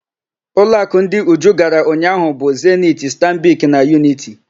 Ụlọakụ ndị Uju gara ụnyaahụ bụ: Zeniti, Stanbik na Yuniti.